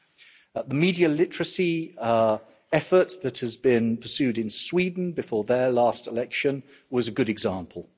And media literacy, an effort that has been pursued in Sweden, before their last election was a good example.